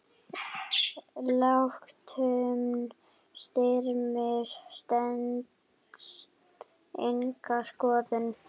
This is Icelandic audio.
Ályktun Styrmis stenst enga skoðun.